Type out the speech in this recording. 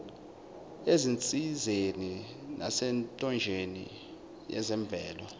ezinsizeni nasemthonjeni yezemvelo